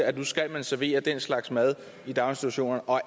at nu skal man servere den slags mad i daginstitutionerne og